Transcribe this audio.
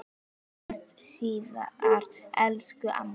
Við sjáumst síðar, elsku amma.